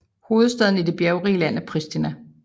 Hovedstaden i det bjergrige land er Pristina